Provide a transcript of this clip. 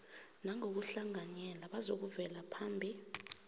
nangokuhlanganyela bazakuvela phambi